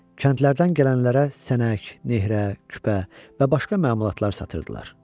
Kəndlərdən gələnlərə sənək, nehrə, küpə və başqa məmulatlar satırdılar.